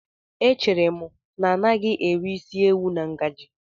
Echere m na agaghị m eri isi ewu na ngaji.